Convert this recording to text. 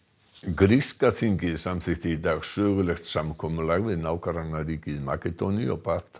gríska þingið samþykkti í dag sögulegt samkomulag við nágrannaríkið Makedóníu og batt